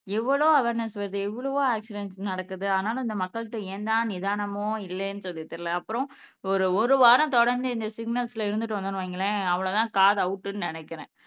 எவ்வளோ அவார்னஸ் வருது எவ்வளவோ ஆக்சிடன்ட் நடக்குது ஆனாலும் இந்த மக்கள்ட்ட ஏன்தான் நிதானமோ இல்லைன்னு சொல்லி தெரியலே அப்புறம் ஒரு ஒரு வாரம் தொடர்ந்து இந்த சிக்கனல்ஸ்ல இருந்துட்டு வந்தோம்ன்னு வையுங்களேன் அவ்வளவுதான் காது அவுட்ன்னு நினைக்கிறேன்